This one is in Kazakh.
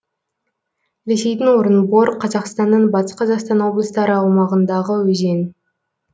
ресейдің орынбор қазақстанның батыс қазақстан облыстары аумағындағы өзен